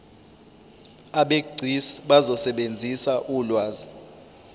abegcis bazosebenzisa ulwazi